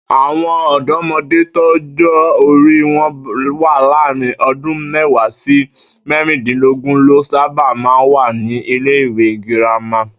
Àwo̩n ò̩dó̩mo̩dé tọ́jó̩ orí wo̩n wà láàárín o̩dún mé̩wàá sí mé̩rìndínlógún ló sábà máa ń wà ní ilé-ìwé girama